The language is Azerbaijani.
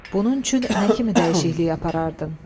Bunun üçün nə kimi dəyişiklik aparardın?